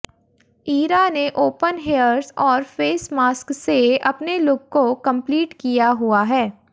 इरा ने open hairs और face mask से अपने लुक को कम्पलीट किया हुआ है